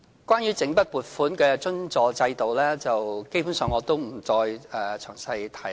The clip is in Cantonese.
關於整筆撥款的津助制度，我也不詳細提了。